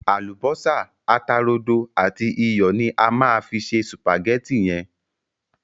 Àlùbọ́sá, ata rodo àti iyọ̀ ni a má fi se sùpàgétì yẹn.